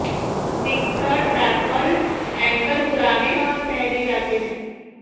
fixed rappel anchor पुराने हैं और पहने जाते हैं